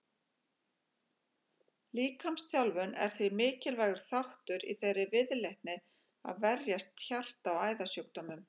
Líkamsþjálfun er því mikilvægur þáttur í þeirri viðleitni að verjast hjarta- og æðasjúkdómum.